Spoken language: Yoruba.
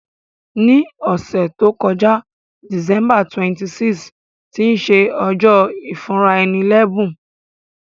Ní òsẹ̀ to joká, December 26, tí se ojó ìfúnraẹni lẹ́bùn